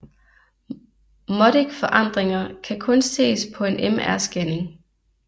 Modic forandringer kan kun ses på en MR scanning